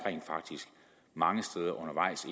mange steder undervejs